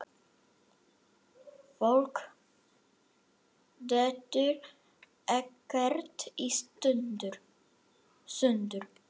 Fólk dettur ekkert í sundur.